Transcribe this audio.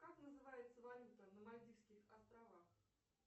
как называется валюта на мальдивских островах